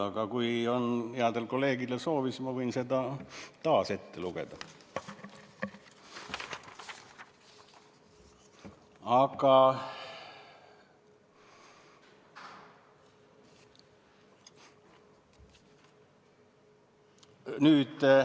Aga kui headel kolleegidel on soovi, siis ma võin selle taas ette lugeda.